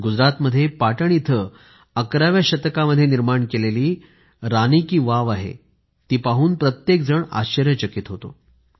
गुजरातमध्ये पाटण इथं अकराव्या शतकामध्ये निर्माण केलेली रानी की बाव आहे ती पाहून प्रत्येकजण आश्चर्यचकीत होतो